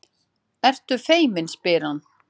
Ertu feimin, spyr hann.